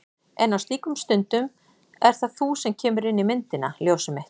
En á slíkum stundum ert það þú sem kemur inn í myndina. ljósið mitt.